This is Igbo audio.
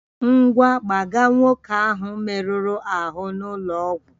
Ngwa, gbaga nwoke ahụ merụrụ ahụ n'ụlọ ọgwụ!